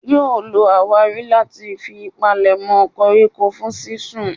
Yóò lo àwárí láti fi palèmọ́ koríko fún sínsun.